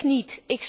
Ik niet.